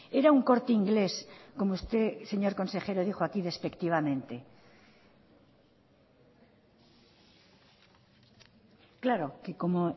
era un corte inglés como usted señor consejero dijo aquí despectivamente claro que como